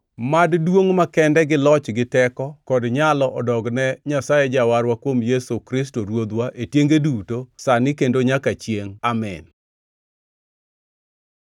mad duongʼ makende, gi loch gi teko, kod nyalo odogne Nyasaye Jawarwa kuom Yesu Kristo Ruodhwa, e tienge duto, sani kendo nyaka chiengʼ! Amin.